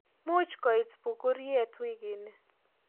Muuch kooit punguruet wiikini